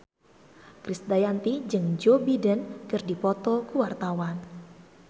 Krisdayanti jeung Joe Biden keur dipoto ku wartawan